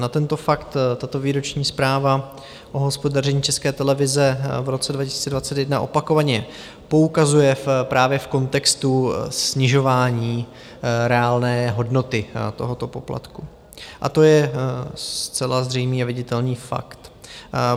Na tento fakt tato Výroční zpráva o hospodaření České televize v roce 2021 opakovaně poukazuje právě v kontextu snižování reálné hodnoty tohoto poplatku a to je zcela zřejmý a viditelný fakt.